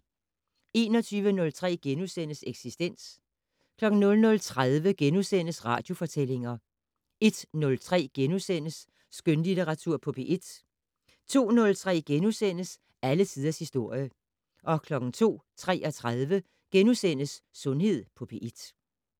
21:03: Eksistens * 00:30: Radiofortællinger * 01:03: Skønlitteratur på P1 * 02:03: Alle tiders historie * 02:33: Sundhed på P1 *